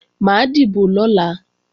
Mà á dìbò lọ́la